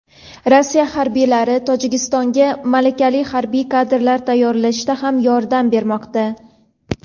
Rossiya harbiylari Tojikistonga malakali harbiy kadrlar tayyorlashda ham yordam bermoqda.